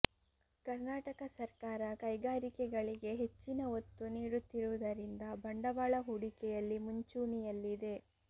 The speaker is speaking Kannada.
ಕರ್ನಾಟಕ ಸರ್ಕಾರ ಕೈಗಾರಿಕೆಗಳಿಗೆ ಹೆಚ್ಚಿನ ಒತ್ತು ನೀಡುತ್ತಿರುವುದರಿಂದ ಬಂಡವಾಳ ಹೂಡಿಕೆಯಲ್ಲಿ ಮುಂಚೂಣಿಯಲ್ಲಿದೆ